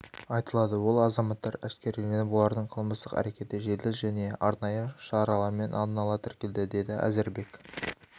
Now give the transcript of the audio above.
айтылады ол азаматтар әшкереленіп олардың қылмыстық әрекеті жедел және арнайы шаралармен алдын-ала тіркелді деді әзірбек